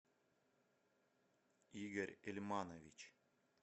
игорь ильманович